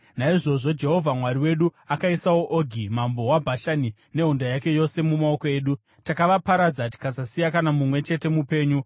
Naizvozvo Jehovha Mwari wedu akaisawo Ogi mambo weBhashani nehondo yake yose mumaoko edu. Takavaparadza tikasasiya kana mumwe chete mupenyu.